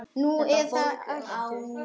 Nú, eða hátt metin.